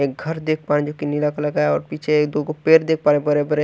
एक घर देख पा रहे हैं जो की नीला कलर का है और पीछे एक दुगो पेर देख पा रहे हैं बरे बरे ।